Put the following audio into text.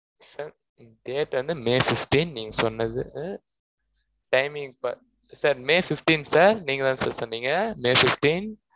sir date வந்து may fifteen, நீங்க சொன்னது, timing sirsir may fifteenth sir நீங்கதான் sir சொன்னீங்க. may fifteen